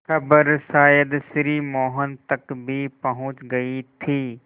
खबर शायद श्री मोहन तक भी पहुँच गई थी